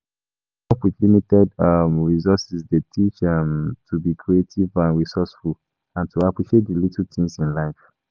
Growing up with limited um resources dey teach um to be creative and resourceful and to appreciate di little things in life.